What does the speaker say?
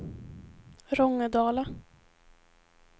Rångedala